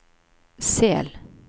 Sel